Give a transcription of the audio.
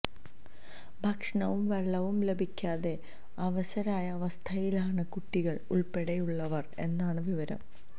ഭക്ഷണവും വെള്ളവും ലഭിക്കാതെ അവശരായ അവസ്ഥയിലാണ് കുട്ടികള് ഉള്പ്പെടെയുള്ളവര് എന്നാണ് വിവരം